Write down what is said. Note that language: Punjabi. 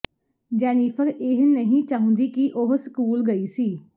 ਜੈਨੀਫ਼ਰ ਇਹ ਨਹੀਂ ਚਾਹੁੰਦੀ ਕਿ ਉਹ ਸਕੂਲ ਗਈ ਸੀ